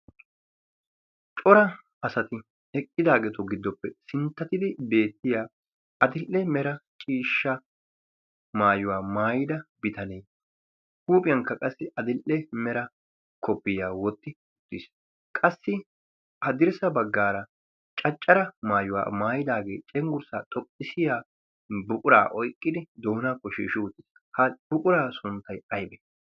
cora asati eqqidaageeto giddoppe sinttatidi beettiya adil''e mera ciishsha maayuwaa maayida bitanee huuphiyankka qassi adil''e mera kopiyaa wotti uttiis qassi a dirssa baggaara caccara maayuwaa maayidaagee cenggurssaa xoqqisiya buquraa oiqqidi doona ko shiishi utiis ha buquraa sunttay aybee